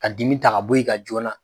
Ka dimi ta ka bɔ i ka joona